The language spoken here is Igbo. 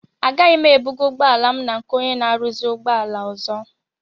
Agaghị m ebuga ụgbọala m na nke ónyé na aruzi ụgbọala ọzọ.